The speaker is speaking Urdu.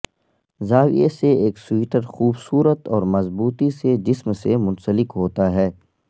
زاویہ سے ایک سویٹر خوبصورت اور مضبوطی سے جسم سے منسلک ہوتا ہے